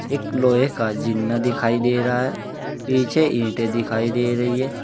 एक लोहे का जीना दिखाई दे रहा है। पीछे ईंटें दिखाई दे रही हैं।